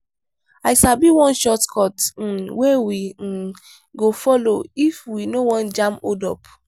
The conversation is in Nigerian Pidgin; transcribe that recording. i sabi one shortcut um wey we um go folo if we no wan jam hold-up.